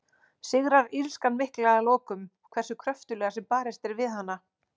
Sigrar illskan mikla að lokum, hversu kröftuglega sem barist er við hana?